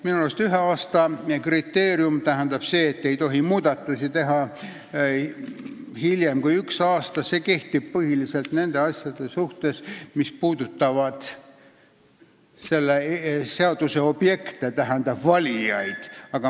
Minu arust see tähendab seda, et ei tohi muudatusi teha hiljem kui ühe aasta jooksul, ja see kehtib põhiliselt nende asjade suhtes, mis puudutavad selle seaduse objekte ehk valijaid.